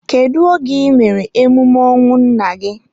Kedu oge I mere emume ọnwụ nna gị?